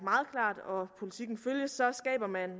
meget klart og politikken følges så skaber man